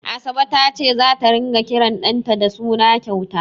Asabe ta ce zata ringa kiran ɗanta da suna kyauta.